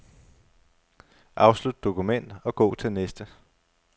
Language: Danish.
Afslut dokument og gå til næste.